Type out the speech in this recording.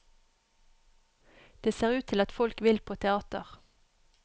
Det ser ut til at folk vil på teater.